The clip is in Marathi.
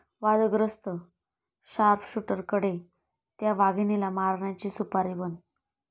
वादग्रस्त शार्पशूटरकडे 'त्या' वाघिणीला मारण्याची सुपारी, पण...!